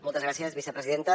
moltes gràcies vicepresidenta